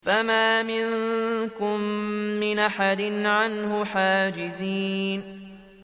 فَمَا مِنكُم مِّنْ أَحَدٍ عَنْهُ حَاجِزِينَ